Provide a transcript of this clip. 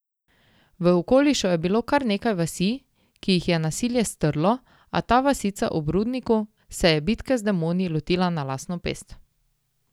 V okolišu je bilo kar nekaj vasi, ki jih je nasilje strlo, a ta vasica ob rudniku se je bitke z demoni lotila na lastno pest.